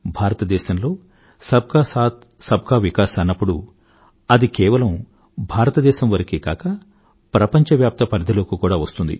భారతదేశంలో సబ్ కా సాథ్ సబ్ కా వికాస్ అన్నప్పుడు అది కేవలం భారతదేశం వరకే కాక ప్రపంచవ్యాప్త పరిధిలోకి కూడా వస్తుంది